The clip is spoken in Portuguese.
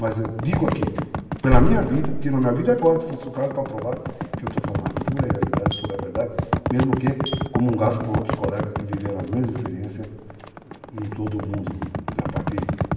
Mas eu digo aqui, pela minha vida, tiro a minha vida agora, se fosse o caso, para provar que eu estou falando a pura realidade, a pura verdade, mesmo que comungado por outros colegas que viveram as mesmas experiências em todo o mundo a partir,